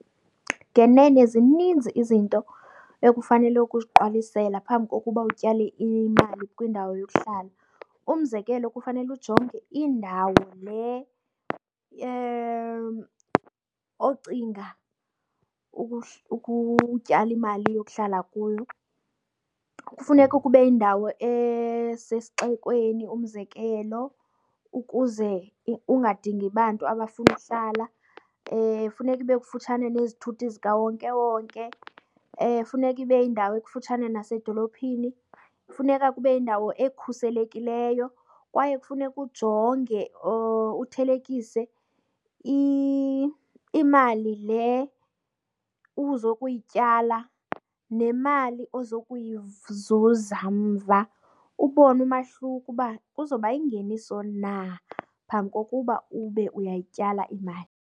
Ngenene zininzi izinto ekufanele ukuziqwalisela phambi kokuba utyale imali kwindawo yokuhlala. Umzekelo, kufanele ujonge indawo le ocinga ukutyala imali yokuhlala kuyo. Kufuneka kube yindawo esesixekweni, umzekelo, ukuze ungadingi bantu abafuna ukuhlala. Funeka ibe kufutshane nezithuthi zikawonkewonke. Funeka ibe yindawo ekufutshane nasedolophini. Funeka kube yindawo ekhuselekileyo kwaye kufuneka ujonge or uthelekise imali le uzokuyityala nemali ozokuyizuza mva, ubone umahluko uba kuzoba yingeniso na phambi kokuba ube uyayityala imali.